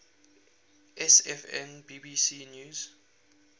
sfn bbc news